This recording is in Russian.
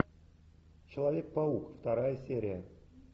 человек паук вторая серия